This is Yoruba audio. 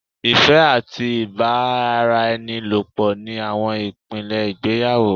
Ìfẹ́ àti ìbáraẹnirẹ́pọ̀ ni àwọn ìpìlẹ̀ ìgbéyàwó